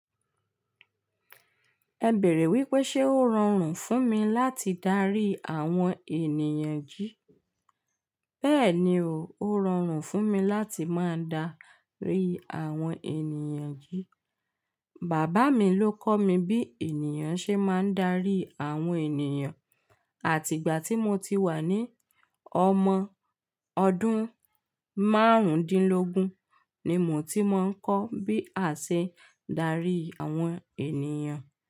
Ẹ bèrè wípé ṣe ó rọrùn fún mi láti darí àwọn ènìyàn jí? Bẹ́ẹ̀ni o, ó rọrùn fún mi láti máa darí àwọn ènìyàn jí. Bàbá mi ló kọ́ mi bí ènìyàn ṣe máa ń darí àwọn ènìyàn àti ìgbà tí mo ti wà ní ọmọ ọdún márùndínlógún ni mo ti máa ń kọ́ bí a ṣe darí àwọn ènìyàn.